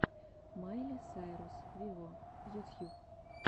майли сайрус виво ютьюб